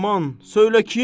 Aman, söylə kim?